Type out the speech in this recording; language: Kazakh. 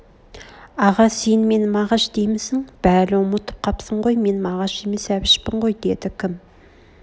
аға сен мен мағаш деймсің бәл ұмытып қапсың ғой мен мағаш емес әбішпін ғой дед кім